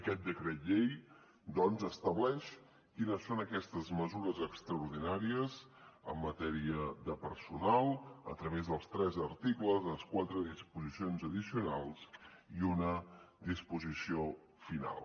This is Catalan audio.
aquest decret llei doncs estableix quines són aquestes mesures extraordinàries en matèria de personal a través dels tres articles i les quatre disposicions addicionals i una disposició final